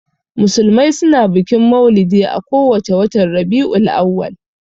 Musulmai suna bikin maulidi a ko wace watan Rabi'ul Auwal.